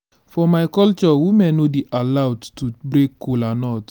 for my culture women no dey allowed to break kola nut